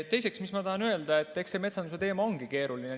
Teiseks tahan öelda, et eks see metsanduse teema ongi keeruline.